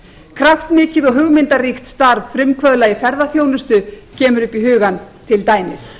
kraftmikið og hugmyndaríkt starf frumkvöðla í ferðaþjónustu kemur upp í hugann til dæmis